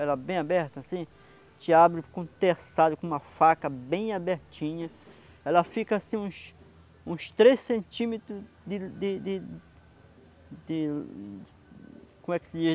ela bem aberta assim te abre com o terçado, com uma faca bem abertinha ela fica assim uns... uns uns três centímetros de... de... de... como é que se diz?